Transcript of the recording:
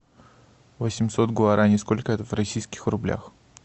восемьсот гуарани сколько это в российских рублях